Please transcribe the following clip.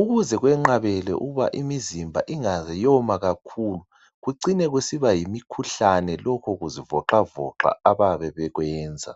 ukuze kwenqabele ukuba imizimba ingaze yoma kakhulu kucine kusiba yimikhuhlane lokhu kuzivoxavoxa abayabe bekwenza.